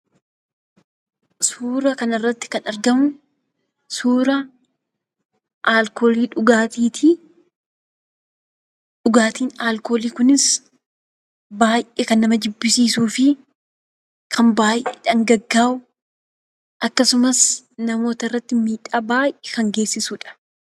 Suura kanarratti kan argamu, suura alkoolii dhugaatii ti. Dhugaatiin alkoolii kunis ,baay'ee kan nama jibbisiisuu fi kan baay'ee dhangaggaawu, akkasumas namoota irratti miidhaa baay'ee kan geessisuu dha.